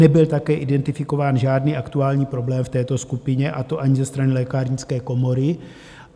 Nebyl také identifikován žádný aktuální problém v této skupině, a to ani ze strany Lékárnické komory.